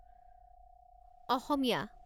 অসমীয়া